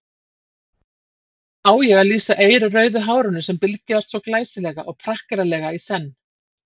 Hvernig á ég að lýsa eirrauðu hárinu sem bylgjaðist svo glæsilega og prakkaralega í senn.